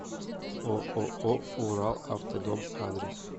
ооо уралавтодом адрес